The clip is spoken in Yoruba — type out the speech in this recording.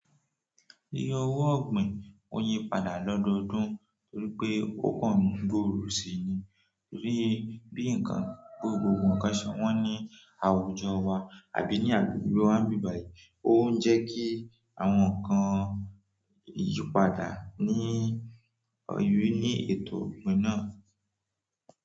Lílo owó ọ̀gbìn ó yípadà lọ́dọdún nítorí pé ó kàn gbòòrò síi ni. Torí bí ǹkan gbogbogbò ǹkan ṣe wọn ní àwùjọ wa àbí ní agbègbè wa ń bi báyìí, ó ń jẹ́ kí àwọn ǹkan yípadà ní oyún ní ètò ọ̀gbìn náà.